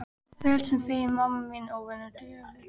Ég frelsinu feginn, mamma þín óvenju þögul.